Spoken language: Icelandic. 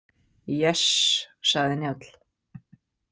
Yes, sagði Njáll.